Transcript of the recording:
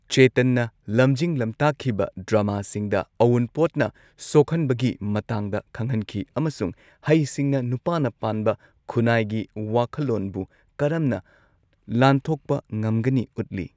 ꯆꯦꯇꯟꯅ ꯂꯝꯖꯤꯡ ꯂꯝꯇꯥꯛꯈꯤꯕ ꯗ꯭ꯔꯃꯥꯁꯤꯡꯗ ꯑꯎꯟꯄꯣꯠꯅ ꯁꯣꯛꯍꯟꯕꯒꯤ ꯃꯇꯥꯡꯗ ꯈꯪꯍꯟꯈꯤ ꯑꯃꯁꯨꯡ ꯍꯩꯁꯤꯡꯅ ꯅꯨꯄꯥꯅ ꯄꯥꯟꯕ ꯈꯨꯅꯥꯢꯒꯤ ꯋꯥꯈꯜꯂꯣꯟꯕꯨ ꯀꯔꯝꯅ ꯂꯥꯟꯊꯣꯛꯄ ꯉꯝꯒꯅꯤ ꯎꯠꯂꯤ꯫